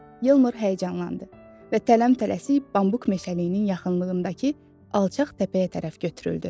Yeldar həyəcanlandı və tələm-tələsik bambuk meşəliyinin yaxınlığındakı alçaq təpəyə tərəf götürüldü.